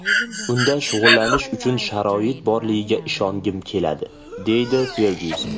Unda shug‘ullanish uchun sharoit borligiga ishongim keladi”, deydi Fergyuson.